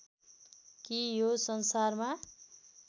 कि यो संसारमा